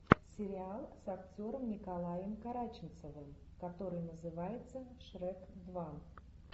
сериал с актером николаем караченцовым который называется шрек два